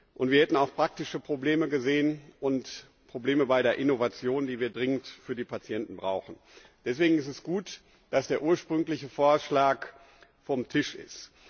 Und wir hätten auch praktische Probleme gesehen und Probleme bei der Innovation, die wir dringend für die Patienten brauchen. Deswegen ist es gut, dass der ursprüngliche Vorschlag vom Tisch ist.